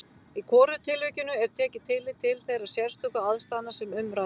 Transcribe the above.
Í hvorugu tilvikinu er tekið tillit til þeirra sérstöku aðstæðna sem um ræðir.